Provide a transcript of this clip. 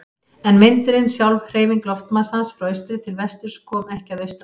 En vindurinn, sjálf hreyfing loftmassans frá austri til vesturs, kom ekki að austan.